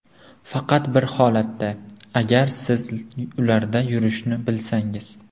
Faqat bir holatda: agar siz ularda yurishni bilsangiz.